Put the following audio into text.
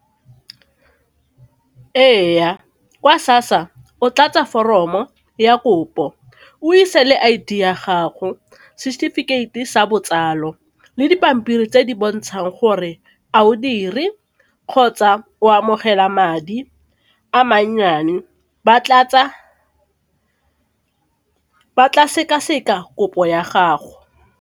Ee, kwa SASSA o tlatse foromo ya kopo, o ise le I_D ya gago, setefikeiti sa botsalo le dipampiri tse di bontshang gore a o dire kgotsa o amogela madi a mannyane ba tla sekaseka kopo ya gago.